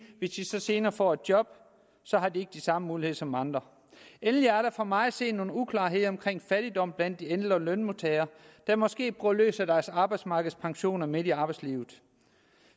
hvis de så senere får et job har de ikke de samme muligheder som andre endelig er der for mig at se nogle uklarheder omkring fattigdom blandt de ældre lønmodtagere der måske bruger løs af deres arbejdsmarkedspensioner midt i arbejdslivet